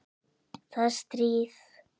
Það er stríð.